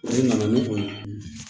E nana n'o ye